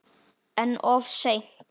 En of seint.